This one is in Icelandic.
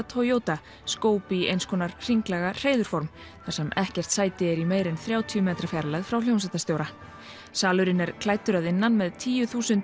Toyota skóp í einskonar hringlaga þar sem ekkert sæti er í meira en þrjátíu metra fjarlægð frá hljómsveitarstjóra salurinn er klæddur að innan með tíu þúsund